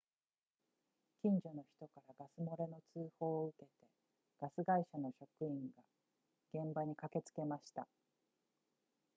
近所の人からガス漏れの通報を受けてガス会社の職員が現場に駆けつけました